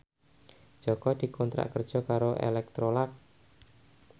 Jaka dikontrak kerja karo Electrolux